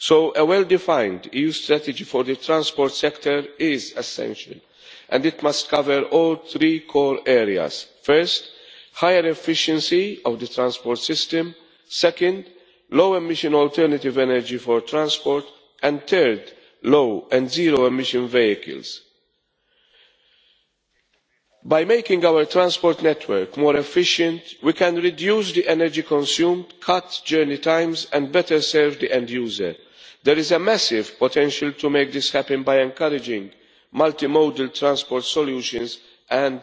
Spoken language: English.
A well defined EU strategy for the transport sector is essential, and it must cover all three core areas first, higher efficiency of the transport system second, low emission alternative energy for transport and third, low and zero emission vehicles. By making our transport network more efficient, we can reduce the energy consumed, cut journey times and better serve the end user. There is a massive potential to make this happen by encouraging multimodal transport solutions